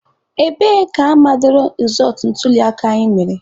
Ebee ka amadoro rezọtụ ntuliaka anyị mere?